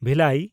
ᱵᱷᱤᱞᱟᱭ